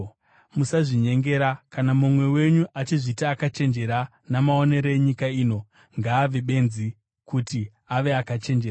Musazvinyengera. Kana mumwe wenyu achizviti akachenjera namaonero enyika ino, ngaave “benzi” kuti ave akachenjera.